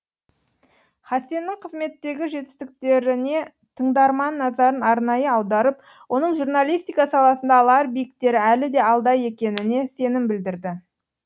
хасеннің қызметтегі жетістіктерінетыңдарман назарын арнайы аударып оның журналистика саласында алар биіктері әлі де алда екеніне сенім білдірді